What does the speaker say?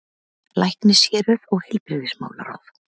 LÆKNISHÉRUÐ OG HEILBRIGÐISMÁLARÁÐ